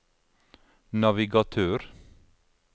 navigatør